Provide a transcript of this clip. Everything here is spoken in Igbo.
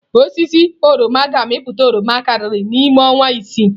Osisi oroma ga-amịpụta oroma karịa n'ime ọnwa isii.